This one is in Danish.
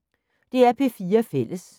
DR P4 Fælles